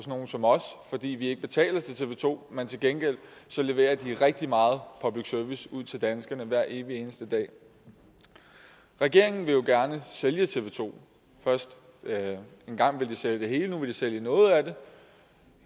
nogle som os fordi vi ikke betaler til tv to men til gengæld leverer de rigtig meget public service ud til danskerne hver evig eneste dag regeringen vil jo gerne sælge tv to engang ville de sælge det hele og nu vil de sælge noget af det